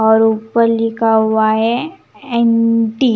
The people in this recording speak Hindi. और ऊपर लिखा हुआ है एम टी .